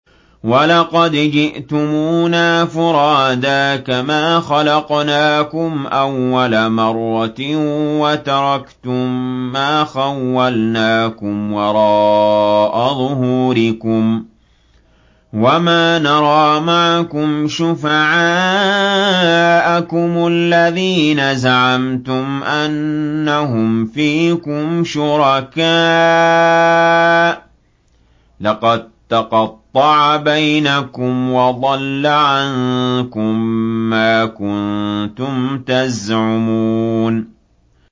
وَلَقَدْ جِئْتُمُونَا فُرَادَىٰ كَمَا خَلَقْنَاكُمْ أَوَّلَ مَرَّةٍ وَتَرَكْتُم مَّا خَوَّلْنَاكُمْ وَرَاءَ ظُهُورِكُمْ ۖ وَمَا نَرَىٰ مَعَكُمْ شُفَعَاءَكُمُ الَّذِينَ زَعَمْتُمْ أَنَّهُمْ فِيكُمْ شُرَكَاءُ ۚ لَقَد تَّقَطَّعَ بَيْنَكُمْ وَضَلَّ عَنكُم مَّا كُنتُمْ تَزْعُمُونَ